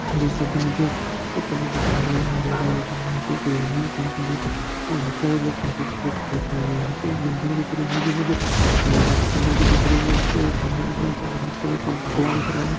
जैसा कि मुझे इस फोटो में दिख रहा है यह अंधेरा हो गया है यहाँ पे एक रैली निकल रही है जिसमें बहुत सारे लोग पार्टिसिपेट कर रहे हैं यहाँ पे एक बिल्डिंग दिख रही है जो मुझे व्हाइट कलर की दिख रही हैं उसपे एक झंडा लगा जो ऑरेंज कलर का भगवा दिख रहा है।